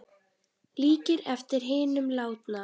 Líkir eftir hinum látna